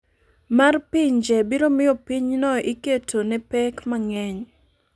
mar pinje biro miyo pinyno iketo ne pek mang’eny.